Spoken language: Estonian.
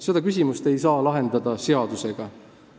Seda küsimust ei saa lahendada seadusega.